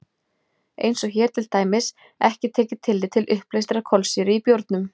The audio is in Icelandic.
Eins er hér til dæmis ekki tekið tillit til uppleystrar kolsýru í bjórnum.